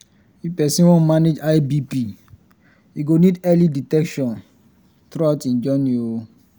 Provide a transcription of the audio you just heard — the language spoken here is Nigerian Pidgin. if persin wan manage high bp e go need early detection throughout him journey